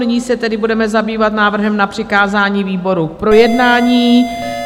Nyní se tedy budeme zabývat návrhem na přikázání výboru k projednání.